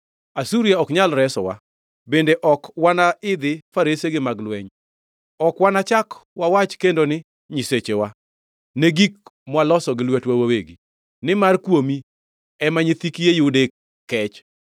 Asuria ok nyal resowa, bende ok wana idhi faresegi mag lweny. Ok wanachak wawach kendo ni, ‘Nyisechewa’ ne gik mwaloso gi lwetwa wawegi, nimar kuomi, ema, nyithi kiye yude kech.”